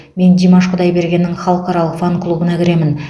мен димаш құдайбергеннің халықаралық фан клубына кіремін